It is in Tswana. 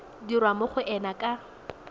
dirwa mo go ena ka